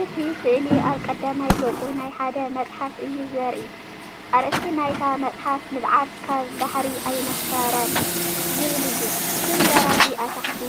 እቲ ስእሊ ኣብ ቀዳማይ ገጽ ናይ ሓደ መጽሓፍ እዩ ዘርኢ። ኣርእስቲ ናይታ መጽሓፍ “ንብዓት ካብ ባሕሪ ኣይነፈረን” ዝብል እዩ። ስም ደራሲ ኣብ ታሕቲ